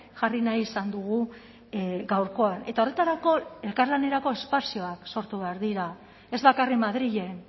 jarri nahi izan dugu gaurkoan eta horretarako elkarlanerako espazioak sortu behar dira ez bakarrik madrilen